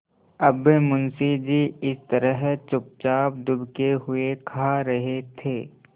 अब मुंशी जी इस तरह चुपचाप दुबके हुए खा रहे थे